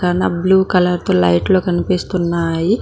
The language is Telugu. క్కన బ్లూ కలర్ తో లైట్లు కనిపిస్తున్నాయి.